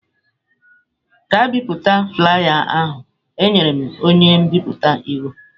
Gaa bipụta flaiya ahu! Enyere m onye nbipute iwu.